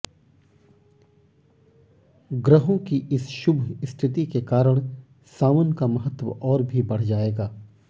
ग्रहों की इस शुभ स्थिति के कारण सावन का महत्व और भी बढ़ जाएगा